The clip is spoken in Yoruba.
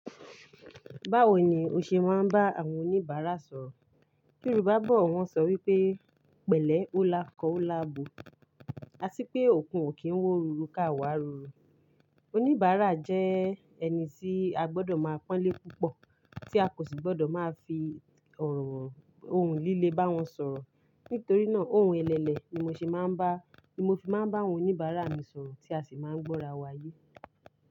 Báwo ni o ṣe máa ń bá àwọn oníbàárà sọ̀rọ̀? Yorùbá bọ̀ wọ́n ṣọ wípé, "pẹ̀lẹ́ o lákọọ́ o láàbò" a sì pé, "òkun ò kí ń wọ́ ruru ká wá ruru". Oníbàárà jẹ́ ẹni tí a gbọdọ̀ máa pọ́n lé púpọ̀, tí a kò sì gbọdọ̀ máa fi ọrọ ohun líle bá wọn sọ̀rọ̀. Nítorí náà, ohun ẹlẹlẹ ni mo fi máa ń bá àwọn oníbàárà mi sọ̀rọ̀ tí a sì máa ń gbọ́ra wáyé.